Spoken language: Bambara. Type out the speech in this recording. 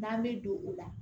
N'an bɛ don o la